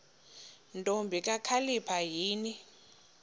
ntombi kakhalipha yini